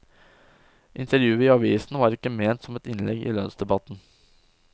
Intervjuet i avisen var ikke ment som et innlegg i lønnsdebatten.